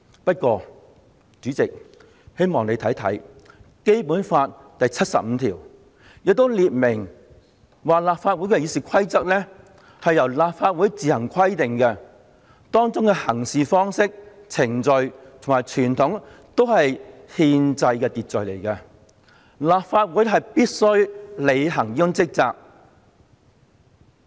不過，主席，我希望你也看看《基本法》第七十五條，當中列明立法會《議事規則》由立法會自行制定，《議事規則》中訂明的行事方式、程序及傳統都是憲制秩序，立法會須按此履行職責。